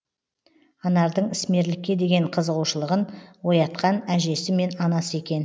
анардың ісмерлікке деген қызығушылығын оятқан әжесі мен анасы екен